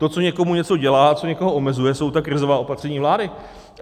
To, co někomu něco dělá, co někoho omezuje, jsou ta krizová opatření vlády.